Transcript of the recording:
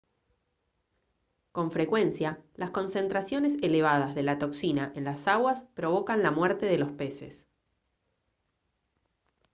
con frecuencia las concentraciones elevadas de la toxina en las aguas provocan la muerte de los peces